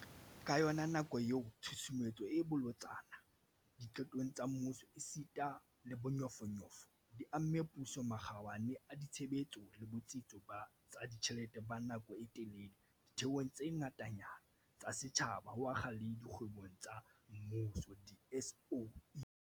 Ka yona nako eo, tshusumetso e bolotsana diqetong tsa mmuso esita le bonyofonyofo di amme puso, makgabane a ditshebetso le botsitso ba tsa ditjhelete ba nako e telele ditheong tse ngatanyana tsa setjhaba, ho akga le dikgwebong tsa mmuso di-SOE.